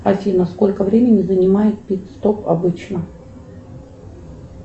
афина сколько времени занимает пит стоп обычно